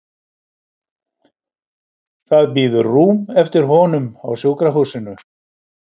Það bíður rúm eftir honum á sjúkrahúsinu.